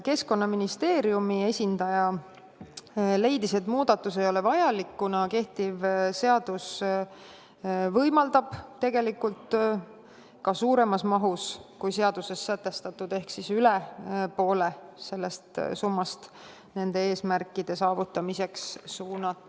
Keskkonnaministeeriumi esindaja leidis, et muudatus ei ole vajalik, kuna kehtiv seadus võimaldab saadud tulu ka suuremas mahus, kui seaduses sätestatud, ehk üle poole sellest summast nende eesmärkide saavutamisse suunata.